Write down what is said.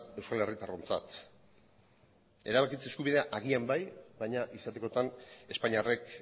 euskal herritarrontzat erabakitze eskubidea agian bai baina izatekotan espainiarrek